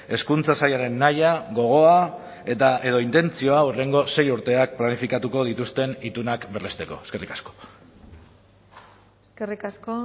hezkuntza sailaren nahia gogoa edo intentzioa hurrengo sei urteak planifikatuko dituzten itunak berresteko eskerrik asko eskerrik asko